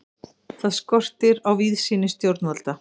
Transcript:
Þar skortir á víðsýni stjórnvalda.